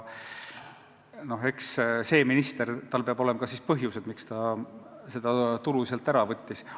Eks sel ministril peab olema ka põhjus, miks ta seda tulu kärpis.